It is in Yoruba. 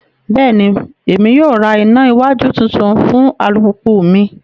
Bẹẹni, Emi yoo rí ìnà iwájú títún fún alupupu mí